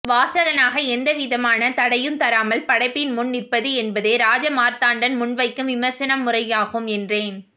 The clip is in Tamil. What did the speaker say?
வாசகனாக எந்தவிதமான தடையும் தராமல் படைப்பின் முன் நிற்பது என்பதே ராஜமார்த்தாண்டன் முன்வைக்கும் விமரிசன முறையாகும் என்றேன்